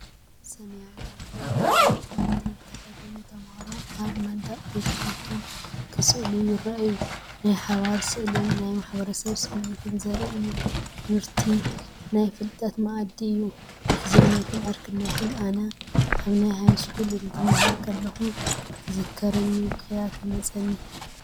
ሰማያዊ ዩኒፎርም ቤት ትምህርቲ ዝተኸድኑ ተማሃሮ ኣብ መንደቕ ቤት ት/ቶም ክስእሉ ይረኣዩ። ናይ ሓባር ስራሕን ናይ ማሕበረሰብ ስምዒትን ዘርኢ እዩ። ትምህርቲ ናይ ፍልጠት ማኣዲ እዩ፡፡ ምሕዝነትን ዕርክነትን፡፡ ኣነ ኣብ ሃይስኩል እንትማሃር ከለኹ አንትዝከረኒ ብኽያት ይመፀኒ...